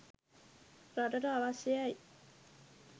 රටට අවශ්‍යයයි.